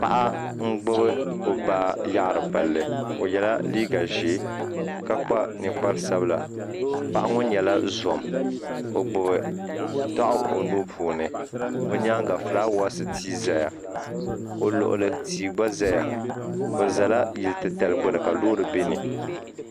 Paɣa n gbubi o baa yaɣiri palli o ye la liiga zɛɛ ka kpa ninkpara sabila paɣa ŋɔ nyɛla zom o gbubi daɣu o nuu puuni o yɛanga flawaasi tia n zaya o luɣuli tia gba zaya bi zala yili ti tali gbuni ka loori bɛ ni.